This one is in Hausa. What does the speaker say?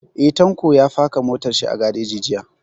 Eh, Tanko ya faka motar shi a gareji jiya